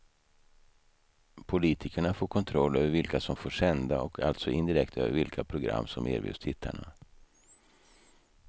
Politikerna får kontroll över vilka som får sända och alltså indirekt över vilka program som erbjuds tittarna.